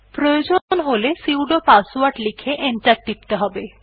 প্রয়োজন হলে sudo password লিখে এন্টার টিপতে হবে